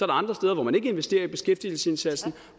andre steder hvor man ikke investerer i beskæftigelsesindsatsen og